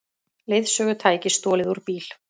Leiðsögutæki stolið úr bíl